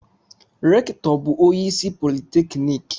Rektọ bu onye isi politekniki.